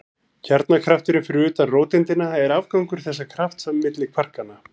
Kjarnakrafturinn fyrir utan róteindina er afgangur þessa krafts milli kvarkanna.